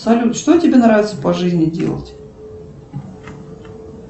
салют что тебе нравится по жизни делать